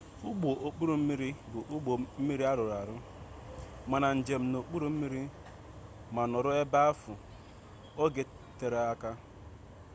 ụgbọ okpuru mmiri bụ ụgbọ mmiri arụrụ maka njem n'okpuru mmiri ma nọrọ ebe ahụ oge tere aka